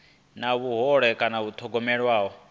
na vhuhole kana u thogomelwa